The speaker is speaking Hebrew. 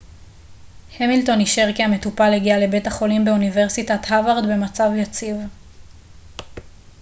המילטון אישר כי המטופל הגיע לבית החולים באוניברסיטת הווארד במצב יציב